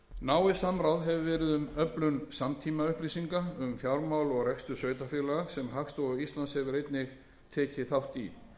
náið samráð hefur verið um öflun samtímaupplýsinga um fjármál og rekstur sveitarfélaga sem hagstofa íslands hefur einnig tekið þátt í